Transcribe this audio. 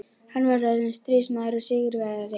Hann var orðinn stríðsmaður og sigurvegari.